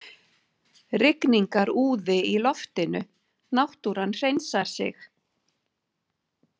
Rigningarúði í loftinu, náttúran hreinsar sig.